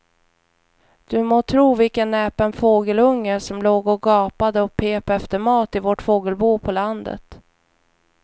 Du må tro vilken näpen fågelunge som låg och gapade och pep efter mat i vårt fågelbo på landet.